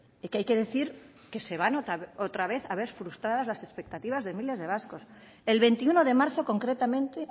que hay que decir que se va a notar otra vez a ver frustradas las exceptivas de miles de vascos el veintiuno de marzo concretamente